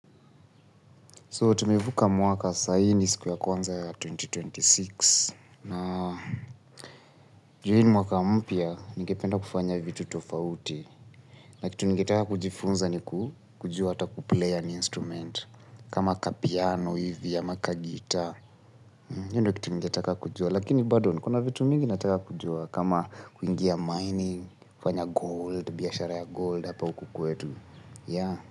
So, tumevuka mwaka sai ni siku ya kwanza ya elfu mbili na ishirini na sita. Na, ju hi ni mwaka mpya, ningependa kufanya vitu tofauti. Na, kitu ningetaka kujifunza ni kujua hata kuplay an instrument. Kama kapiano hivi ya maka gitaa. Hiyo ndio kitu ningetaka kujua. Lakini, bado nikona vitu mingi nataka kujua. Kama kuingia mining, kufanya gold, biashara ya gold hapa huku kwetu.